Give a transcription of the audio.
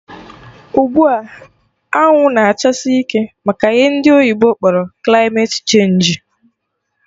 Ugbua, anwụ na-achasi ike maka ihe ndị oyibo kpọrọ kilmate chenji